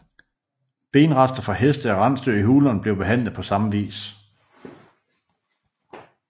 Benrester fra heste og rensdyr i hulerne blev behandlet på samme vis